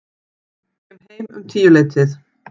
Kem heim um tíuleytið.